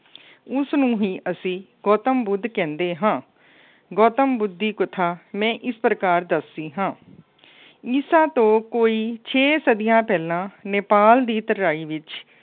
ਉਸਨੂੰ ਹੀ ਅਸੀਂ ਗੌਤਮ ਬੁੱਧ ਕਹਿੰਦੇ ਹਾਂ। ਗੌਤਮ ਬੁੱਧ ਦੀ ਕਥਾ ਮੈਂ ਇਸ ਪ੍ਰਕਾਰ ਦੱਸਦੀ ਹਾਂ। ਈਸਾ ਤੋਂ ਕੋਈ ਛੇ ਸਦੀਆਂ ਪਹਿਲਾਂ ਨੇਪਾਲ ਦੀ ਤਰਾਈ ਵਿੱਚ